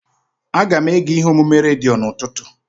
Aga m ege ihe omume redio n'ụtụtụ.